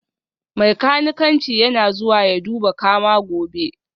Mai kanikanci yana zuwa ya duba kama gobe